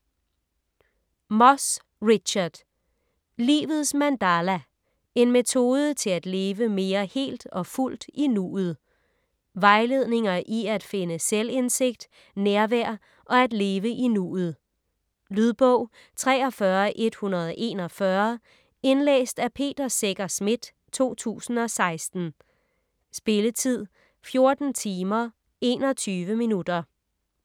Moss, Richard: Livets mandala: en metode til at leve mere helt og fuldt i nuet Vejledninger i at finde selvindsigt, nærvær og at leve i nuet. Lydbog 43141 Indlæst af Peter Secher Schmidt, 2016. Spilletid: 14 timer, 21 minutter.